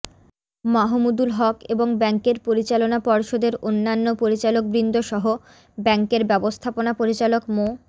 মাহমুদুল হক এবং ব্যাংকের পরিচালনা পর্ষদের অন্যান্য পরিচালকবৃন্দসহ ব্যাংকের ব্যবস্থাপনা পরিচালক মো